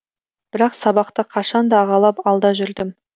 бірақ сабақта қашанда ағалап алда жүрдім